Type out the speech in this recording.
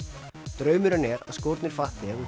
draumurinn er að skórnir fatti